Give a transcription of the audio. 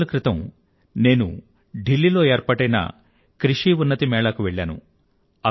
కొద్ది రోజుల క్రితం నేను ఢిల్లీ లో ఏర్పాటైన వ్యవసాయ అభివృధ్ధి మేళాకి వెళ్ళాను